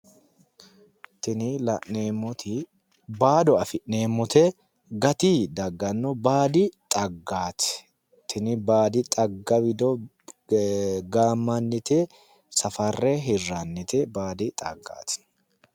Tinni la'neemoti baado afi'neemote gati dagano baadi xaggaati tinni baadi xagga wido gaamannite safare hirannite baadi xaggaati.